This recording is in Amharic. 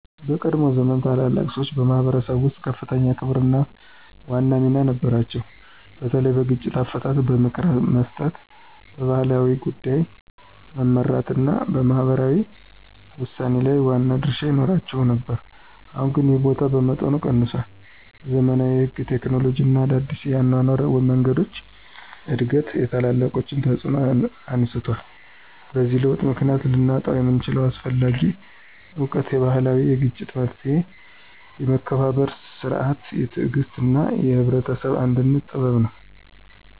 በቀድሞ ዘመን ታላላቅ ሰዎች በማኅበረሰብ ውስጥ ከፍተኛ ክብርና ዋና ሚና ነበራቸው፤ በተለይ በግጭት አፈታት፣ በምክር መስጠት፣ በባህል ጉዳዮች መመራት እና በማህበራዊ ውሳኔ ላይ ዋና ድርሻ ይኖራቸው ነበር። አሁን ግን ይህ ቦታ በመጠኑ ቀንሷል፤ የዘመናዊ ሕግ፣ ቴክኖሎጂ እና አዲስ የአኗኗር መንገዶች እድገት የታላቆችን ተፅዕኖ አነስቷል። በዚህ ለውጥ ምክንያት ልናጣው የምንችለው አስፈላጊ እውቀት የባህላዊ የግጭት መፍትሔ፣ የመከባበር ሥርዓት፣ የትዕግሥት እና የህብረተሰብ አንድነት ጥበብ ነው።